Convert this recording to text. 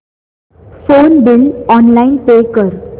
phone bill online pay कर